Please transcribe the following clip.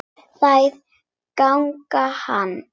Þær ganga enn.